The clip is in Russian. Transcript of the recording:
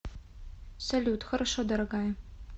салют хорошо дорогая